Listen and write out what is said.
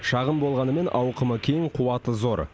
шағын болғанымен ауқымы кең қуаты зор